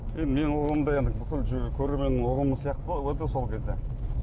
енді менің ұғымым да енді бүкіл көрерменнің ұғымы сияқты ғой сол кезде